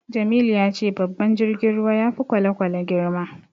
Jamilu ya ce babban jirgin ruwa ya fi kwale-kwale girma.